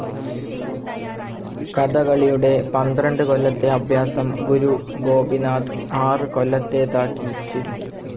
കഥകളിയുടെ പന്ത്രണ്ട്‌ കൊല്ലത്തെ അഭ്യാസം ഗുരു ഗോപിനാഥ് ആറ്‌ കൊല്ലത്തേതാക്കി ചുരുക്കി.